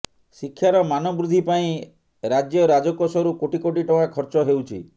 ଶିକ୍ଷାର ମାନ ବୃଦ୍ଧି ପାଇଁ ରାଜ୍ୟ ରାଜକୋଷରୁ କୋଟି କୋଟି ଟଙ୍କା ଖର୍ଚ ହେଉଛି